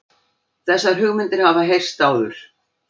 Þessar hugmyndir hafa heyrst áður